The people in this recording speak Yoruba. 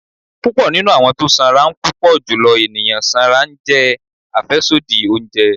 pupọ ninú awọn tọ sanra n Pupọ julọ eniyan sanra njẹ afẹsodi ounjẹ